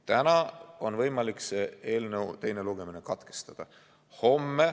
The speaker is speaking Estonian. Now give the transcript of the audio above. Täna on võimalik see eelnõu teine lugemine katkestada.